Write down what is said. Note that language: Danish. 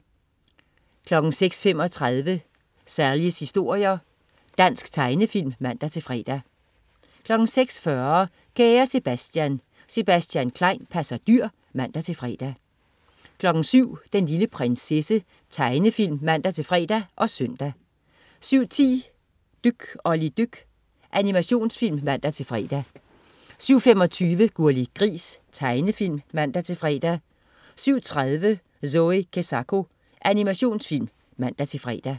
06.35 Sallies historier. Dansk tegnefilm (man-fre) 06.40 Kære Sebastian. Sebastian Klein passer dyr (man-fre) 07.00 Den lille prinsesse. Tegnefilm (man-fre og søn) 07.10 Dyk Olli dyk. Animationsfilm (man-fre) 07.25 Gurli Gris. Tegnefilm (man-fre) 07.30 Zoe Kezako. Animationsfilm (man-fre)